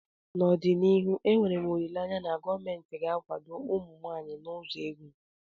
N'ọdịnihu enwere m olileanya na gọọmentị ga-akwado ụmụ nwanyị n'ụzọ ego